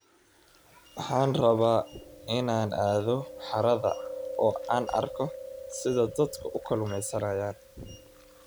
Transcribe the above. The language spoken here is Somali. Waxaan rabaa inaan aado harada oo aan arko sida dadku u kalluumaystaan.